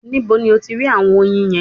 Nibo ni o ti rí àwọn oyin yẹn?